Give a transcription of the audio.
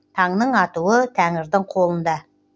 таңның атуы тәңірдің қолында